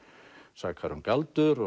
sakaður um galdur